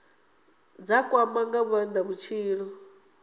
dza kwama nga maanda vhutshilo